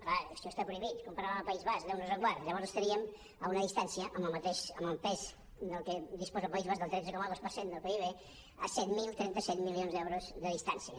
clar això està prohibit comparar ho amb el país basc déu nos ens en guard llavors estaríem a una distància amb el pes de què disposa el país basc del tretze coma dos per cent del pib a set mil trenta set milions d’euros de distància